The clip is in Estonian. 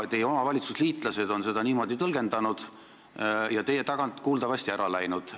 Teie oma valitsusliitlased on seda niimoodi tõlgendanud ja teie selja tagant kuuldavasti ära läinud.